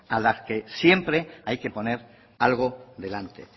a la que siempre hay que poner algo delante